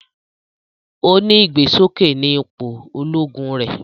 O ni igbesoke ní ipò Ológùn rẹ